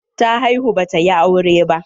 Ta haihu ba ta yi aure ba.